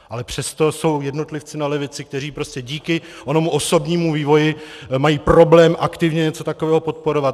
Ale přesto jsou jednotlivci na levici, kteří prostě díky onomu osobnímu vývoji mají problém aktivně něco takového podporovat.